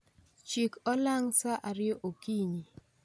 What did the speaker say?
Chik olang' sa ariyo okinyi